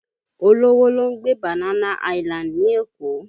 Olówó ló ń gbé Banana Island ní Èkó